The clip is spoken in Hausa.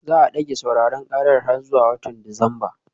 Za a dage sauraron karar har zuwa watan Disamba